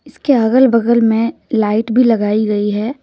इसके अगल बगल में लाइट भी लगाई गई है।